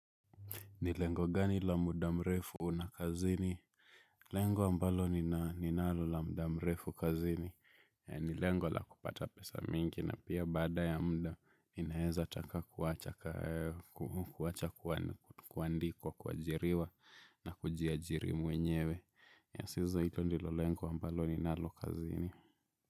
Nilengo gani lamuda mrefu unakazini? Lengo ambalo ninalo lamda mrefu kazini. Nilengo la kupata pesa mingi na pia bada ya mda ninaeza taka kuwacha kuandikwa kwa jiriwa na kujia jiri mwenyewe. Sizo ito nilolengo ambalo ninalo kazini.